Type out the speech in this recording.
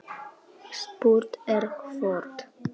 Spurt er hvort